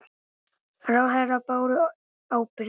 Ráðherrar báru ábyrgð